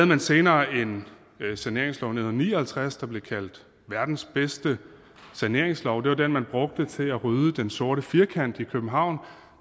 man senere en saneringslov i nitten ni og halvtreds der blev kaldt verdens bedste saneringslov det var den man brugte til at rydde den sorte firkant i københavn